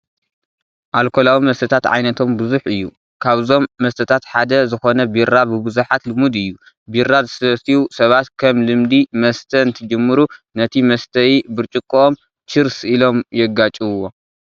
ኣልኮላዊ መስተ ዓይነቶ ብዙሕ እዩ፡፡ ካብዞም መስተታት ሓደ ዝኾነ ቢራ ብብዙሓት ልሙድ እዩ፡፡ ቢራ ዝሰትዩ ሰባት ከም ልምዲ መስተ እንትጅምሩ ነቲ መስተዪ ብርጭቆኦም ቺርስ ኢሎም የጋጭውዎ፡፡